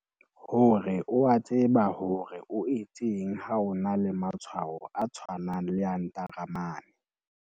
Hore o a tseba hore o etseng ha o na le matshwao a tshwanang le a ntaramane.